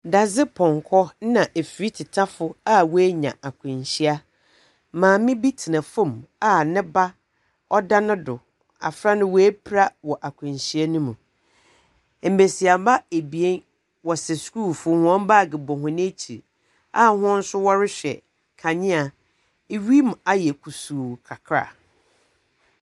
Dadze pɔnkɔ ɛna efiritetafo a wenya akwanhyia. Maame bi tena fom a ne ba ɔda ne do, abɔfra no we pra wɔ akwanhyia no mu. Ebesiaba ebien, wɔ sɛ schoolfoɔ, wɔn bag bɔ wɔn ɛkyi a wɔn nso ɔrehwɛ kanea, ewim ayɛ kusuu kakra.